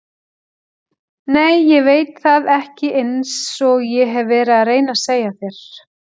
Nei ég veit það ekki einsog ég hef verið að reyna að segja þér.